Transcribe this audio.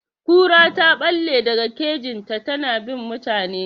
Kura ta ɓalle daga kejin ta, ta na bin mutane.